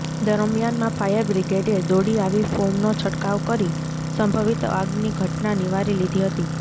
દરમિયાનમાં ફાયર બ્રિગેડએ દોડી આવી ફોમનો છંટકાવ કરી સંભવીત આગની ઘટના નિવારી લીધી હતી